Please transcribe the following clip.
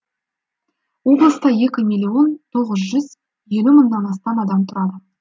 облыста екі миллион тоғыз жүз елу мыңнан астам адам тұрады